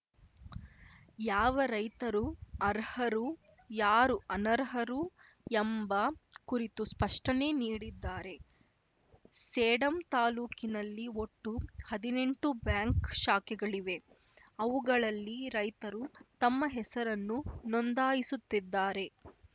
ಯಾವ ರೈತರು ಅರ್ಹರು ಯಾರು ಅನರ್ಹರು ಎಂಬ ಕುರಿತು ಸ್ಪಷ್ಟನೆ ನೀಡಿದ್ದಾರೆ ಸೇಡಂ ತಾಲೂಕಿನಲ್ಲಿ ಒಟ್ಟು ಹದಿನೆಂಟು ಬ್ಯಾಂಕ್‌ ಶಾಖೆಗಳಿವೆ ಅವುಗಳಲ್ಲಿ ರೈತರು ತಮ್ಮ ಹೆಸರನ್ನು ನೋಂದಾಯಿಸುತ್ತಿದ್ದಾರೆ